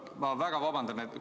Ma väga vabandan!